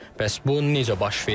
Bəs bu necə baş verib?